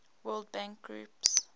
world bank group